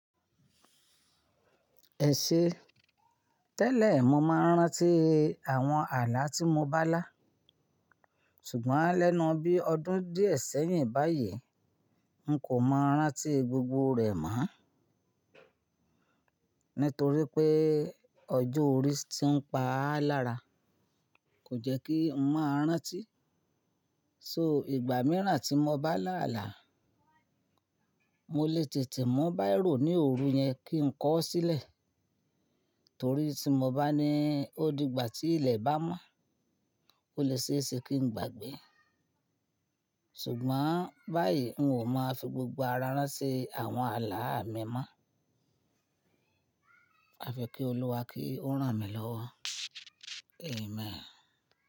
Ẹ̀ṣe, tẹ́lẹ̀ mo máa ń rántí àwọn àlà tí mo bá là. Ṣùgbọ́n lẹ́nu bí ọdún díẹ̀ sẹ́yìn báyìí, n kò mọ rántí gbogbo rẹ̀ mọ́. Nítorí pé ọjọ́ orí tí ń pa á lára kò jẹ́ kí n máa rántí. So ìgbà mìíràn tí mo bá là àlà, mo lè tètè mú baírò ní òru yẹn kí n kọ ọ́ sílẹ̀. Torí tí mo bá ní ó dìgbà tí ilẹ̀ bá mọ́, ó lè ṣe é ṣe kí n gbàgbé. Ṣùgbọ́n báyìí n ò máa fi gbogbo ara rán ti àwọn àlà mi mọ́. A fi kí Olúwa kí ó rán mi lọ́wọ́. Amen.